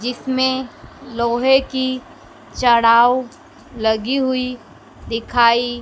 जिसमें लोहे की चड़ाव लगी हुई दिखाई--